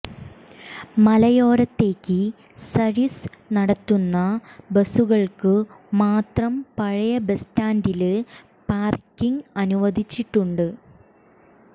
മലയോരത്തേക്ക് service നടത്തുന്ന ബസുകള്ക്കുമാത്രം പഴയ ബസ് സ്റ്റാന്ഡില് പാര്ക്കിങ് അനുവദിച്ചിട്ടുണ്ട്